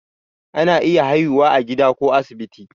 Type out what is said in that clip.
ana iya haihuwa a gida ko asibiti